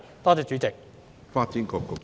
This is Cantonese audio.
多謝主席。